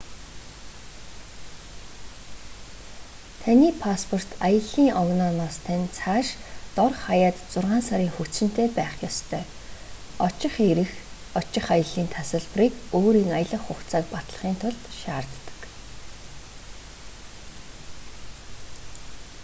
таны пасспорт аяллын огнооноос тань цааш дор хаяад 6 сарын хугацаанд хүчинтэй байх ёстой. очих ирэх/очих аяллын тасалбарыг өөрийн аялах хугацааг батлахын тулд шаарддаг